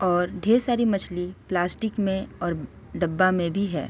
और ढेर मछली पल्स्टिक में और डब्बा में भी है ।